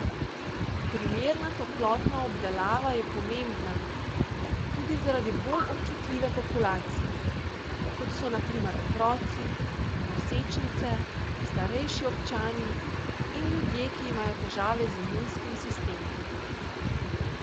Primerna toplotna obdelava je pomembna tudi zaradi bolj občutljive populacije, kot so na primer otroci, nosečnice, starejši občani in ljudje, ki imajo težave z imunskim sistemom.